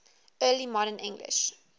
early modern english